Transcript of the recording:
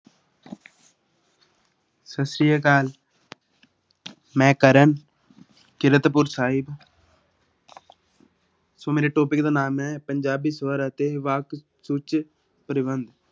ਸਤਿ ਸ੍ਰੀ ਅਕਾਲ ਮੈਂ ਕਰਨ ਕੀਰਤਪੁਰ ਸਾਹਿਬ ਸੋ ਮੇਰੇ topic ਦਾ ਨਾਮ ਹੈ ਪੰਜਾਬੀ ਸਵਰ ਅਤੇ ਵਾਕ ਸੂਚੀ ਪ੍ਰਬੰਧ।